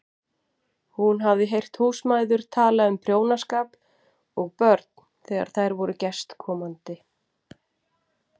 Hún hafði heyrt húsmæður tala um prjónaskap og börn þegar þær voru gestkomandi.